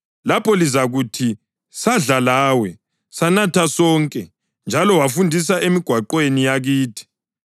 Lapho lizakuthi, ‘Sadla lawe, sanatha sonke, njalo wafundisa emigwaqweni yakithi.’